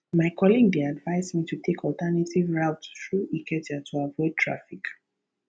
my colleague dey advise me to take alternative route through ikeja to avoid traffic